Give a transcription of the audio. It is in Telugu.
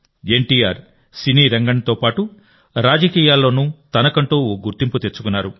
ఎన్టీఆర్ సినీరంగంతో పాటు రాజకీయాల్లోనూ తనకంటూ ఓ గుర్తింపు తెచ్చుకున్నారు